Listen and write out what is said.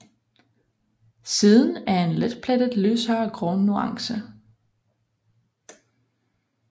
Siden er en letplettet lysere grå nuance